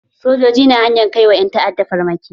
Sojoji na hanyan ka wa ƴan ta'adda farmaki.